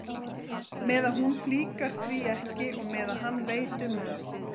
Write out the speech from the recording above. Meðan hún flíkar því ekki og meðan hann veit um það.